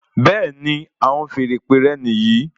Bẹẹni, àwọn feèrè ìpè rẹ níyì